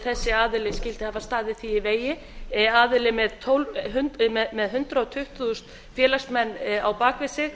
þessi aðili skyldi hafa staðið því í vegi aðili með hundrað tuttugu þúsund félagsmenn á bak við sig